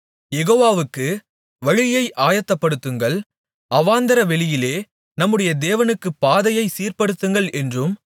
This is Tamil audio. யெகோவாவுக்கு வழியை ஆயத்தப்படுத்துங்கள் அவாந்தரவெளியிலே நம்முடைய தேவனுக்குப் பாதையைச் சீர்படுத்துங்கள் என்றும்